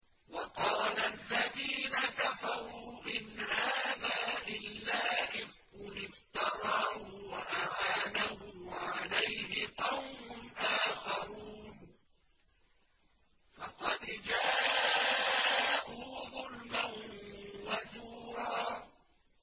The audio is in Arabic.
وَقَالَ الَّذِينَ كَفَرُوا إِنْ هَٰذَا إِلَّا إِفْكٌ افْتَرَاهُ وَأَعَانَهُ عَلَيْهِ قَوْمٌ آخَرُونَ ۖ فَقَدْ جَاءُوا ظُلْمًا وَزُورًا